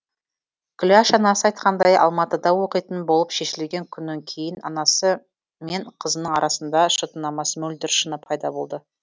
күләш анасы айтқандай алматыда оқитын болып шешілген күннен кейін анасы мен қызының арасында шытынамас мөлдір шыны пайда болды